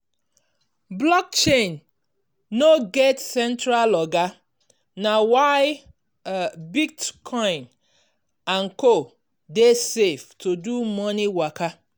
blockchain no get central oga na why bitcoin and co dey safe to do money waka.